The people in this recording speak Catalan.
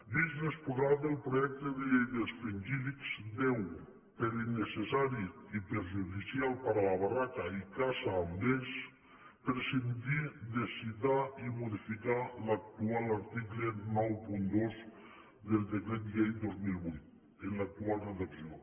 vist l’exposat en el projecte de llei dels fringíl·lids ha de per innecessari i perjudicial per a la barraca i la caça amb vesc prescindir de citar i modificar l’actual article noranta dos del decret llei dos mil vuit en l’actual redacció